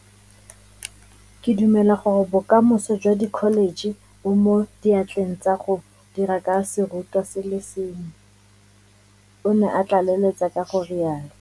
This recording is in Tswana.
Ke dumela gore bokamoso jwa dikholetšhe bo mo diatleng tsa go dira ka serutwa se le sengwe, o ne a tlaleletsa ka go rialo.